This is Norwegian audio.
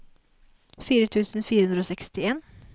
fire tusen fire hundre og sekstien